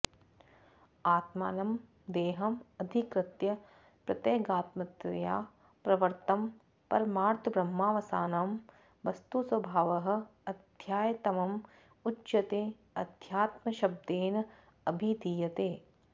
आत्मानं देहं अधिकृत्य प्रत्यगात्मतया प्रवृत्तं परमार्थब्रह्मावसानं वस्तु स्वभावः अध्यात्मं उच्यते अध्यात्मशब्देन अभिधीयते